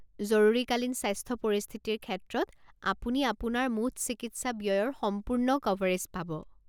জৰুৰীকালীন স্বাস্থ্য পৰিস্থিতিৰ ক্ষেত্ৰত, আপুনি আপোনাৰ মুঠ চিকিৎসা ব্যয়ৰ সম্পূৰ্ণ কাভাৰেজ পাব।